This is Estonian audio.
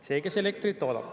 See, kes elektrit toodab.